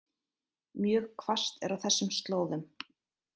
Mjög hvasst er á þessum slóðum